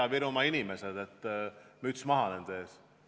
Ida-Virumaa inimesed, müts maha nende ees!